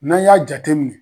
N'an y'a jateminɛ.